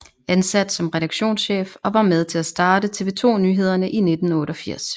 Ansat som redaktionschef og var med til at starte TV 2 Nyhederne i 1988